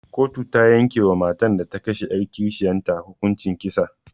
Koto ta yanke wa matar da ta kashe 'yar kishiyar ta hukuncin kisa.